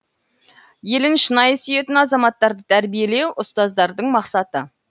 елін шынайы сүйетін азаматтарды тәрбиелеу ұстаздардың мақсаты